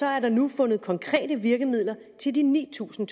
er der nu fundet konkrete virkemidler til de ni tusind